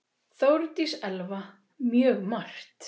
Þórdís Elva: Mjög margt.